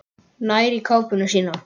Nær í kápuna sína.